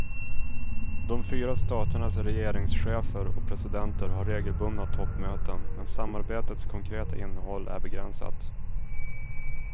De fyra staternas regeringschefer och presidenter har regelbundna toppmöten, men samarbetets konkreta innehåll är begränsat.